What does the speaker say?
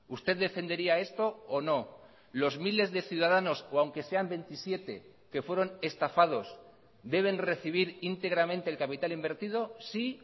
usted defendería esto o no los miles de ciudadanos o aunque sean veintisiete que fueron estafados deben recibir íntegramente el capital invertido sí